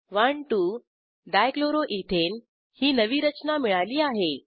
12 dichloroethane ही नवी रचना मिळाली आहे